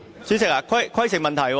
主席，規程問題。